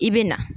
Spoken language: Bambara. I bɛ na